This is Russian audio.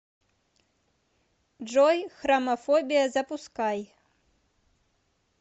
джой храмафобия запускай